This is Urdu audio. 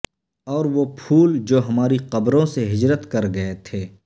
اور وہ پھول جو ہماری قبروں سے ہجرت کر گئے تھے